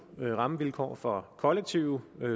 rammevilkår for kollektive